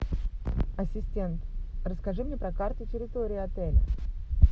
ассистент расскажи мне про карту территории отеля